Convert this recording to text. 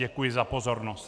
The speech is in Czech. Děkuji za pozornost.